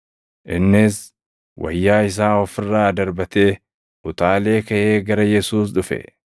Innis wayyaa isaa of irraa darbatee, utaalee kaʼee gara Yesuus dhufe.